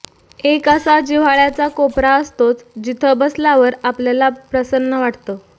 एक असा जिव्हाळ्याचा कोपरा असतोच जिथं बसल्यावर आपल्याला प्रसन्न वाटतं